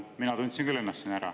Mina tundsin küll ennast siin ära.